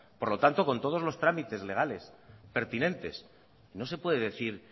por lo tanto con todos los trámites legales pertinentes no se puede decir